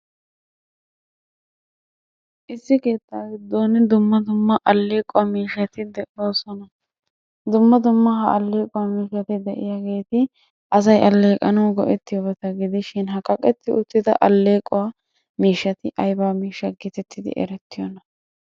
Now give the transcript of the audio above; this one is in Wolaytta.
Issi keettaa giddon dumma dumma aleeqquwaa mishshati de'oosona. Dumma dumma ha aleequwaa miishshati de'iyageti asay aleeqqanawu go'etiyobata gidishi ha kaqqetti uttida aleeqquwaa miishshaati aybaa miishshaa getettidi erettiyonaa?